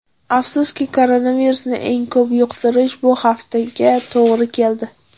Afsuski, koronavirusni eng ko‘p yuqtirish bu haftaga to‘g‘ri keldi.